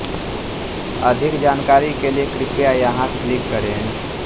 अधिक जानकारी के लिए कृपया यहाँ क्लिक करें